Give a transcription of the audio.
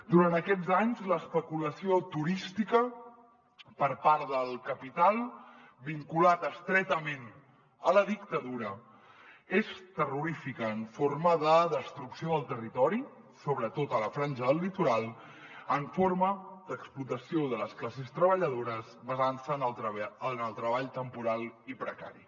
durant aquests anys l’especulació turística per part del capital vinculat estretament a la dictadura és terrorífica en forma de destrucció del territori sobretot a la franja del litoral en forma d’explotació de les classes treballadores basant se en el treball temporal i precari